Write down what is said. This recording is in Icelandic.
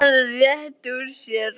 Hann rétti úr sér.